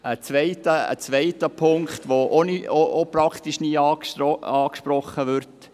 Es gibt einen zweiten Punkt, der ebenfalls praktisch nie angesprochen wird: